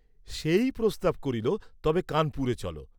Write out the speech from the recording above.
সেই প্রস্তাব করিল তবে কানপুরে চল।